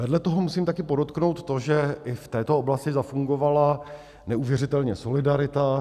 Vedle toho musím taky podotknout to, že i v této oblasti zafungovala neuvěřitelně solidarita.